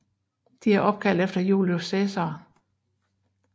De er opkaldt efter Julius Cæsar